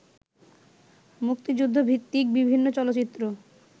মুক্তিযুদ্ধভিত্তিক বিভিন্ন চলচ্চিত্র